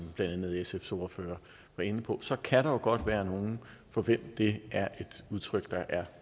blandt andet sfs ordfører var inde på kan der jo godt være nogle for hvem det er et udtryk der er